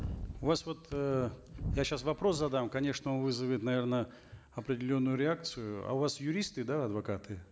у вас вот э я сейчас вопрос задам конечно вызовет наверно определенную реакцию а у вас юристы да адвокаты